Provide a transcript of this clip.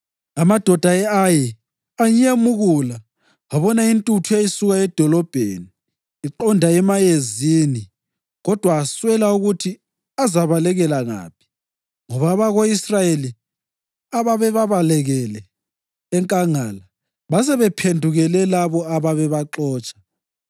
Amadoda e-Ayi anyemukula abona intuthu eyayisuka edolobheni iqonga emayezini kodwa aswela ukuthi azabalekela ngaphi ngoba abako-Israyeli ababebalekele enkangala basebephendukele labo ababebaxotsha.